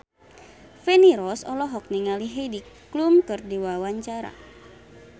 Feni Rose olohok ningali Heidi Klum keur diwawancara